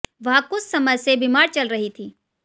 वह कुछ समय से बीमार चल रही थी